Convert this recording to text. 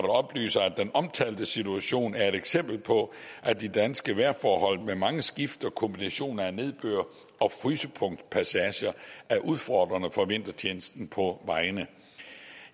oplyser at den omtalte situation er et eksempel på at de danske vejrforhold med mange skift og kombinationer af nedbør og frysepunktspassager er udfordrende for vintertjenesten på vejene